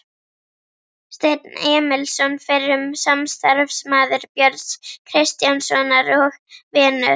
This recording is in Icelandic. Steinn Emilsson, fyrrum samstarfsmaður Björns Kristjánssonar og vinur